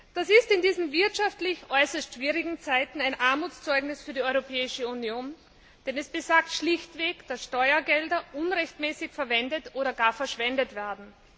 Das ist in diesen wirtschaftlich äußerst schwierigen Zeiten ein Armutszeugnis für die Europäische Union, denn es besagt schlichtweg, dass Steuergelder unrechtmäßig verwendet oder gar verschwendet werden.